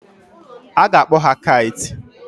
A ga-akpọ ha Kites.